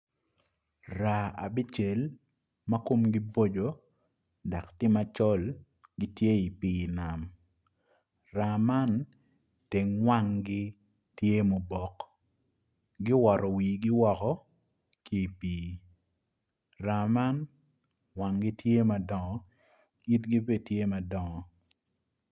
Raa abicel ma komgi boco dak tye macol gitye i pii nam raa man teng wanggi tye mubok giowoto wifi woko ki i pii raa man wanggi tye madongo itigi be tye madongo